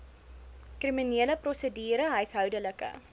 kriminele prosedure huishoudelike